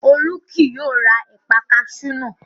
Olú kì yóò ra ẹ̀paa kaṣú náà